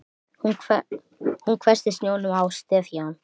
Hún hvessti sjónum á Stefán.